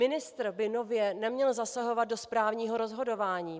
Ministr by nově neměl zasahovat do správního rozhodování.